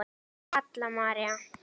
Halla María.